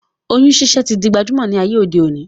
Oyún ṣiṣẹ́ tí di gbajúmọ̀ ní ayé òde òní